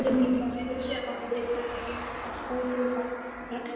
Og fjósið mikla, spurði skáldið, hvernig gengur sá stórhuga rekstur?